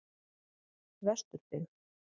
Vesturbyggð